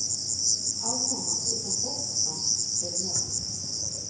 Áhugamál utan fótboltans eru mörg.